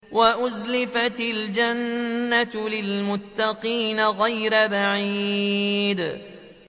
وَأُزْلِفَتِ الْجَنَّةُ لِلْمُتَّقِينَ غَيْرَ بَعِيدٍ